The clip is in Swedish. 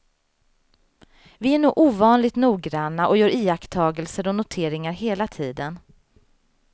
Vi är nog ovanligt noggranna och gör iakttagelser och noteringar hela tiden.